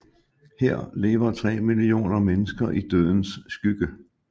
Her lever 3 millioner mennesker i dødens skygge